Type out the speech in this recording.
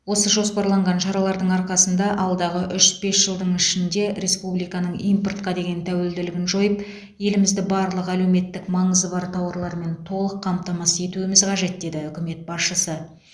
осы жоспарланған шаралардың арқасында алдағы үш бес жылдың ішінде республиканың импортқа деген тәуелділігін жойып елімізді барлық әлеуметтік маңызы бар тауарлармен толық қамтамасыз етуіміз қажет деді үкімет басшысы